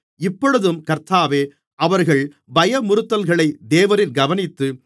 இப்பொழுதும் கர்த்தாவே அவர்கள் பயமுறுத்தல்களை தேவரீர் கவனித்து